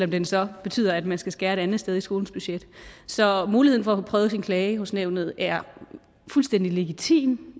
den så betyder at man skal skære et andet sted i skolens budget så muligheden for at få prøvet sin klage hos nævnet er fuldstændig legitim